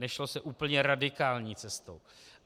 Nešlo se úplně radikální cestou.